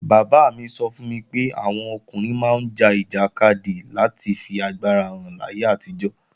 Bàbá mi sọ fún mi pé àwọn ọkùnrin máa ń ja ìjàkadì láti fi agbára hàn láyé àtijọ́